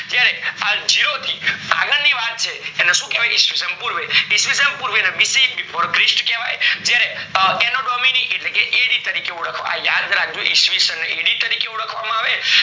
જયારે આ જીરો થી આગળ ની વાત છે તો એને શું કેઅવ્ય એને કેવાય ઈશ્વીષણ પૂર્વે, ઈશ્વીષણ પૂર્વે ને BC Before Christ કેવાય જયારે આ anatomy એટલે AD આ યાદ રાખજે ઈશ્વીષણ ને AD તારીખે ઓળખવામાં આવે